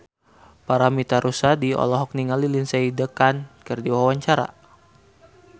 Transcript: Paramitha Rusady olohok ningali Lindsay Ducan keur diwawancara